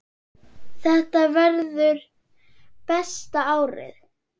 Þetta verður besta árið.